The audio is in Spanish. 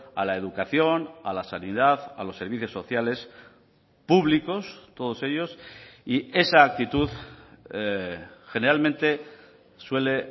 a la educación a la sanidad a los servicios sociales públicos todos ellos y esa actitud generalmente suele